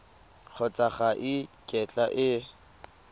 kgotsa ga e kitla e